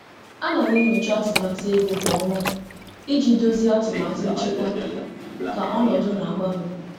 M na-enyocha atụmatụ ego kwa ọnwa iji gbanwee atụmatụ nchekwa dịka ọnọdụ si agbanwe.